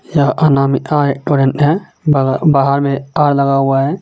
यह अनामिका रेस्टोरेंट हे बहा-बहार मे तार लगा हुआ हे.